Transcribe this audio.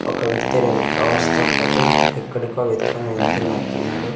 ఒక వ్యక్తి రెండు కవర్స్ తో పాటు ఎక్కడికో అవెత్తుకొని వెళ్తున్నట్టున్నాడు.